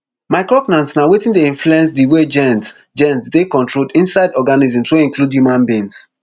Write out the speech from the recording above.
micrornas na wetin dey influence di way genes genes dey controlled inside organisms wey include human beings